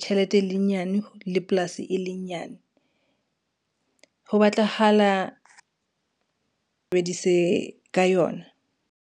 tjhelete e le nyane le polasi e le nyane ho batlahala ka yona.